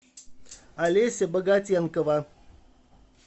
олеся богатенкова